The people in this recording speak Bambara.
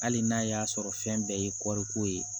Hali n'a y'a sɔrɔ fɛn bɛɛ ye kɔriko ye